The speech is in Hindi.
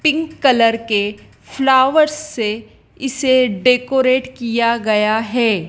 पिंक कलर के फ्लावर से इसे डेकोरेट किया गया है।